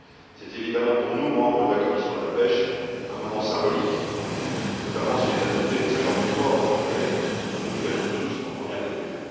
C'est évidemment pour nous, membres de la commission de la pêche, un moment symbolique, notamment s'il est adopté mais je n'en doute pas, mon cher collègue comme nous le souhaitons tous en première lecture.